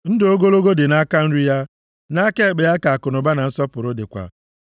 Ndụ ogologo dị nʼaka nri ya; nʼaka ekpe ya ka akụnụba na nsọpụrụ dịkwa.